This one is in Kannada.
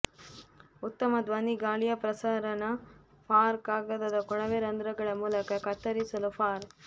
ಉತ್ತಮ ಧ್ವನಿ ಗಾಳಿಯ ಪ್ರಸರಣ ಫಾರ್ ಕಾಗದದ ಕೊಳವೆ ರಂಧ್ರಗಳ ಮೂಲಕ ಕತ್ತರಿಸಲು ಫಾರ್